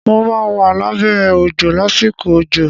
Mo máa wà lábẹ́ òjò lásìkò òjò.